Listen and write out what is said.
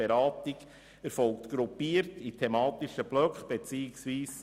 Die Beratung erfolgt gruppiert in thematischen Blöcken.